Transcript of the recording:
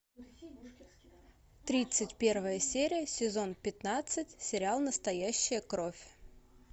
тридцать первая серия сезон пятнадцать сериал настоящая кровь